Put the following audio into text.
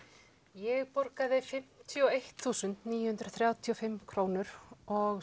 ég borgaði fimmtíu og eitt þúsund níu hundruð þrjátíu og fimm krónur og